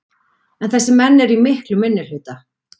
En þessir menn eru í miklum minnihluta.